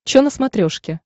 че на смотрешке